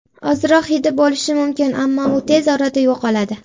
Ozroq hidi bo‘lishi mumkin, ammo u tez orada yo‘qoladi.